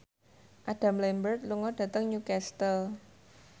Adam Lambert lunga dhateng Newcastle